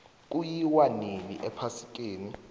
kuyiwa winni ephasikeni